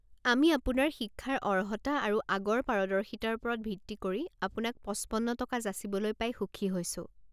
আমি আপোনাৰ শিক্ষাৰ অৰ্হতা আৰু আগৰ পাৰদৰ্শিতাৰ ওপৰত ভিত্তি কৰি আপোনাক পঁচপন্ন টকা যাচিবলৈ পাই সুখী হৈছো।